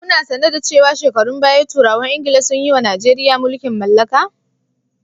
Kuna sane da cewa shekarun baya turawan Ingila sun yiwa Najeriya mulkin mallaka.